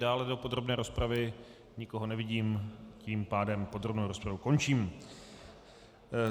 Dále do podrobné rozpravy nikoho nevidím, tím pádem podrobnou rozpravu končím.